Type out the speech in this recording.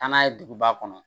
Taa n'a ye duguba kɔnɔ